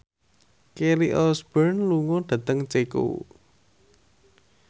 Kelly Osbourne lunga dhateng Ceko